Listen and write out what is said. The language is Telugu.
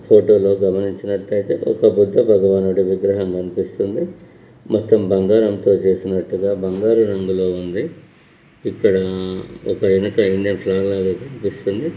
ఫోటో లో గమనించినటు అయితే ఒక బుద్ధ భగవానుడి విగ్రహం కనిపిస్తుంది. మొత్తం బంగారంతో చేసినట్టుగా బంగార రంగులో ఉంది. ఇక్కడ ఒక వెనక కనిపిస్తుంది.